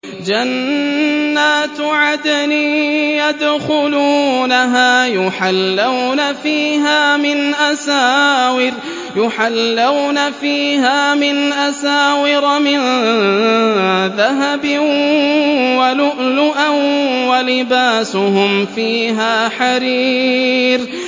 جَنَّاتُ عَدْنٍ يَدْخُلُونَهَا يُحَلَّوْنَ فِيهَا مِنْ أَسَاوِرَ مِن ذَهَبٍ وَلُؤْلُؤًا ۖ وَلِبَاسُهُمْ فِيهَا حَرِيرٌ